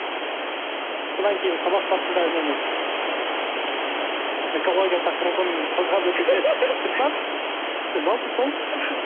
содан кейін сабақ барысында үнемі экология тақырыбын қозғап өтуге тырысамын жалпы сол